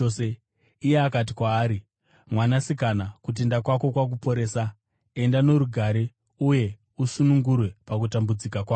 Iye akati kwaari, “Mwanasikana, kutenda kwako kwakuporesa. Enda norugare uye usunungurwe pakutambudzika kwako.”